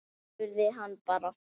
Spurðu hann bara.